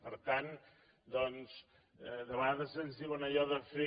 per tant doncs de vegades ens diuen allò de fer